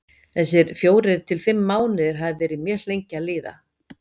Þessir fjórir til fimm mánuðir hafa verið mjög lengi að líða.